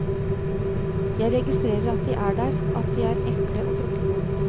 Jeg registrerer at de er der, at de er ekle å tråkke på.